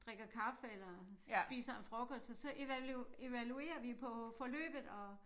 Drikker kaffe eller spiser en frokost og så evaluerer vi på forløbet og